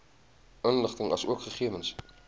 inligting asook gegewens